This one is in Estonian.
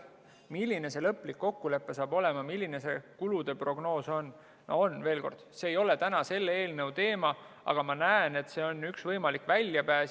Milline see lõplik kokkulepe saab olema, milline see kulude prognoos on, see ei ole täna selle eelnõu teema, aga ma näen, et see on üks võimalik väljapääs.